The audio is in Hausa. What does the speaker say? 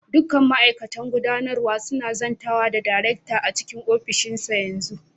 Duk ma'aikatan gudanarwa suna zantawa da darekta a cikin ofishinsa yanzu.